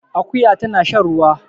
Akuya tana shan ruwa